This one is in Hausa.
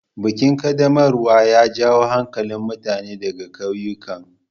Bikin ƙaddamarwar ya jawo hankalin mutane ɗaga kauyukan.